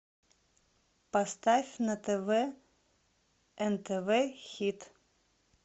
поставь на тв нтв хит